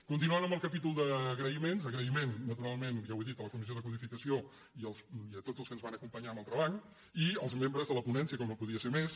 continuant amb el capítol d’agraïments agraïment naturalment ja ho he dit a la comissió de codificació i a tots els que ens van acompanyar en el treball i als membres de la ponència com no podia ser més